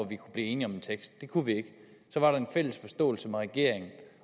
vi kunne blive enige om en tekst det kunne vi ikke så var der en fælles forståelse mellem regeringen